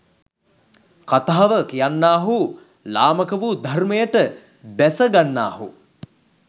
කථාව කියන්නාහු ලාමකවූ ධර්‍මයට බැසගන්නාහු